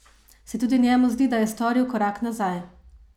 Se tudi njemu zdi, da je storil korak nazaj?